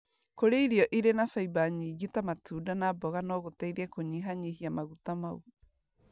Kũrĩa irio irĩ na fiber nyingĩ ta matunda na mboga no gũteithie kũnyihanyihia maguta mau.